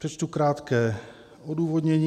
Přečtu krátké odůvodnění.